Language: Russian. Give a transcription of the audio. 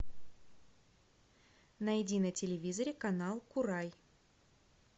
найди на телевизоре канал курай